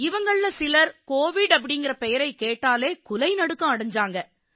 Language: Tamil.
இவங்கள்ல சிலர் கோவிட் அப்படீங்கற பெயரைக் கேட்டாலே குலை நடுக்கம் அடைஞ்சாங்க